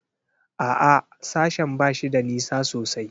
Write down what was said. A'a, sashen ba shi da nisa sosai.